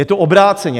Je to obráceně.